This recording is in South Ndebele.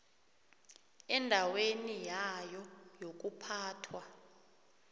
endaweni yayo yokuphathwa